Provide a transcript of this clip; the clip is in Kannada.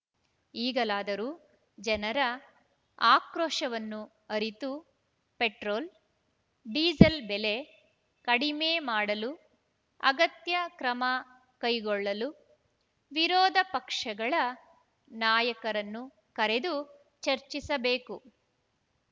ಈಗಲಾದರೂ ಜನರ ಆಕ್ರೋಶವನ್ನು ಅರಿತು ಪೆಟ್ರೋಲ್‌ ಡೀಸೆಲ್‌ ಬೆಲೆ ಕಡಿಮೆ ಮಾಡಲು ಅಗತ್ಯ ಕ್ರಮ ಕೈಗೊಳ್ಳಲು ವಿರೋಧಪಕ್ಷಗಳ ನಾಯಕರನ್ನು ಕರೆದು ಚರ್ಚಿಸಬೇಕು